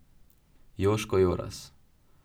Joško Joras.